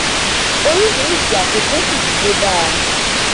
orísìírísìí àfikún sì ti dé bá a